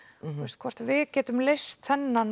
hvort við getum leyst þennan